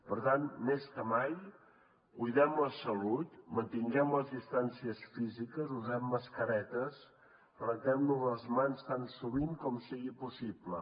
per tant més que mai cuidem la salut mantinguem les distàncies físiques usem mascaretes rentem nos les mans tan sovint com sigui possible